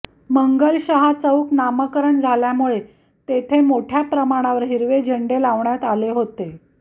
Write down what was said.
मंगलशहा चौक नामकरण झाल्यामुळे तेथे मोठय़ा प्रमाणावर हिरवे झेंडे लावण्यात आले होते